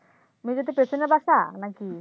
মসজিদ এর পেছনে বাসা নাকি